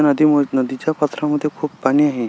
ह्या नदी वर नदी च्या पात्रा मध्ये खुप पाणी आहे.